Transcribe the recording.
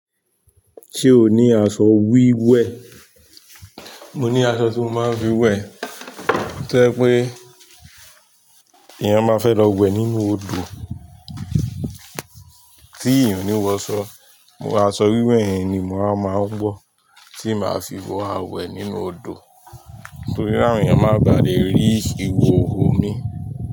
Ṣé o ní aṣọ wíwẹ̀? Mo ní aṣọ tí mo máa ń fi wẹ̀. Ó tẹ́ pé èèyàn máa fẹ́ lọ wẹ̀ nínú odò tí èèyàn ò ní wọ ṣọ, mo máa ṣọ wíwẹ̀ yẹn ni mo máa máa ń wọ̀ tí màá fi wọ̀ a wẹ̀ nínú odò torí àwọn èèyàn máa bà lé rí iwowo mi.